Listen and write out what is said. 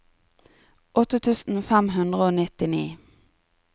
åtte tusen fem hundre og nittini